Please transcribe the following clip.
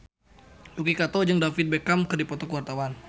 Yuki Kato jeung David Beckham keur dipoto ku wartawan